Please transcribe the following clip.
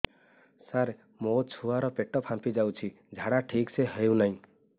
ସାର ମୋ ଛୁଆ ର ପେଟ ଫାମ୍ପି ଯାଉଛି ଝାଡା ଠିକ ସେ ହେଉନାହିଁ